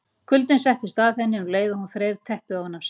Kuldinn settist að henni um leið og hún þreif teppið ofan af sér.